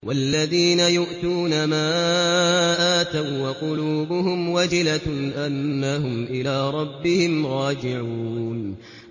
وَالَّذِينَ يُؤْتُونَ مَا آتَوا وَّقُلُوبُهُمْ وَجِلَةٌ أَنَّهُمْ إِلَىٰ رَبِّهِمْ رَاجِعُونَ